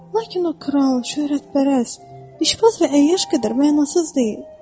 Lakin o kral, şöhrətpərəst, içbaz və əyyaş qədər mənasız deyil.